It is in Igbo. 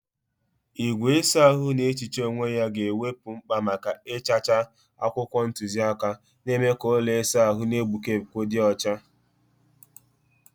Igwe ịsa ahụ na-ehicha onwe ya ga-ewepụ mkpa maka ịchacha akwụkwọ ntuziaka, na-eme ka ụlọ ịsa ahụ na-egbuke egbuke dị ọcha.